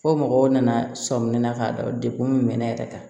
Fo mɔgɔw nana sɔmin na k'a dɔn degun min bɛ ne yɛrɛ kan